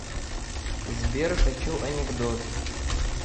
сбер хочу анекдот